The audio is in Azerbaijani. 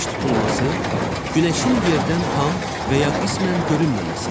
Günəş tutulması günəşin yerdən tam və ya qismən görünməməsidir.